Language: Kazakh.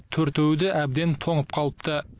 төртеуі де әбден тоңып қалыпты